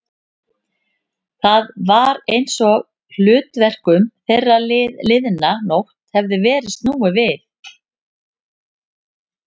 Það var einsog hlutverkum þeirra liðna nótt hefði verið snúið við.